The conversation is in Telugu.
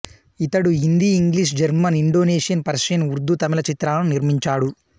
ఇతడు Hindi English German Indonesian Persian Urdu Tamil చిత్రాలను నిర్మించాడు